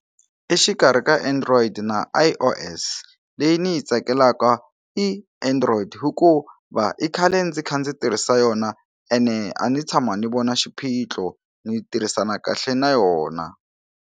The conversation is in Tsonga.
Exikarhi ka android na I_O_S leyi ni yi tsakelaka i android hikuva i khale ndzi kha ndzi tirhisa yona ene a ni tshama ni vona xiphitlo ni tirhisana kahle na yona.